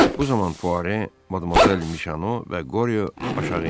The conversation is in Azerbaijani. Bu zaman Fuare, Madamozel Mişano və Qoryo aşağı endilər.